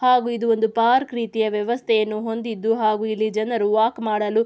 ಹಾಗು ಇದು ಒಂದು ಪಾರ್ಕ್ ರೀತಿಯ ವ್ಯವಸ್ಥೆಯನ್ನು ಹೊಂದಿದ್ದು ಹಾಗು ಇಲ್ಲಿ ಜನರು ವಾಕ್ ಮಾಡಲು--